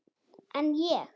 En ég?